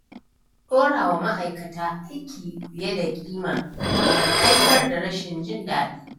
Ɗora wa ma'aikata aiki fiye da ƙima na haifar da rashin jin daɗi.